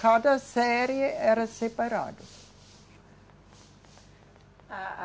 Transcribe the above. Cada série era separado. A, a